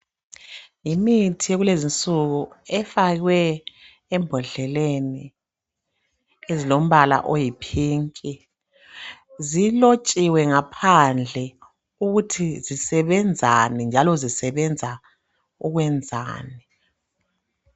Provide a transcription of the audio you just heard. Imithi yekulezinsuku efakwe embodleleni ezilombala oyi pink. Zilotshiwe ngaphandle ukuthi zisebenzani njalo zisebenza ukwenzani.